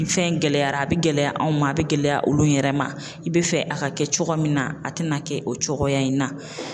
Ni fɛn gɛlɛyara a bɛ gɛlɛya anw ma a bɛ gɛlɛya olu yɛrɛ ma i be fɛ a ka kɛ cogo min na, a te na kɛ o cogoya in na.